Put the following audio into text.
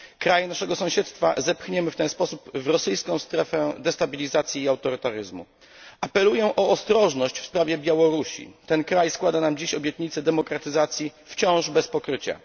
Kraj naszego sąsiedztwa zepchniemy w ten sposób w rosyjską strefę destabilizacji i autorytaryzmu. Apeluję o ostrożność w sprawie Białorusi. Ten kraj składa nam dzisiaj obietnicę demokratyzacji wciąż bez pokrycia.